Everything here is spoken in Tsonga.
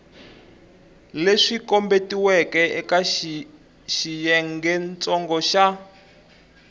leswi kombetiweke eka xiyengentsongo xa